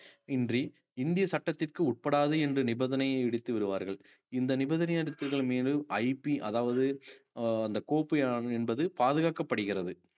இன்றி இந்திய சட்டத்திற்கு உட்படாது என்ற நிபந்தனையை இடித்து விடுவார்கள் இந்த நிபந்தனை மீது IP அதாவது அஹ் அந்த கோப்பை என்பது பாதுகாக்கப்படுகிறது